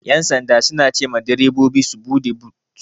Ƴan sanda suna cema direbobi su buɗe but.